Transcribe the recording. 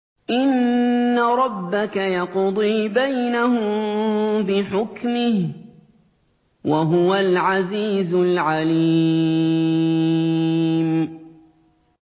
إِنَّ رَبَّكَ يَقْضِي بَيْنَهُم بِحُكْمِهِ ۚ وَهُوَ الْعَزِيزُ الْعَلِيمُ